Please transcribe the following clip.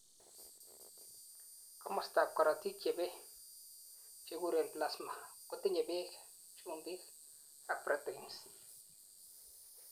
komostab korotik chebei, chekikuren plasma, kotinyei beek, chumbik ak protein's